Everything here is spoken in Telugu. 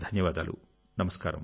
చాలా చాలా ధన్యవాదాలు